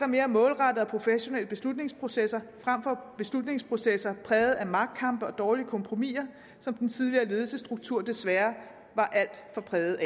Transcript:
mere målrettede og professionelle beslutningsprocesser frem for beslutningsprocesser præget af magtkampe og dårlige kompromiser som den tidligere ledelsesstruktur desværre var alt for præget af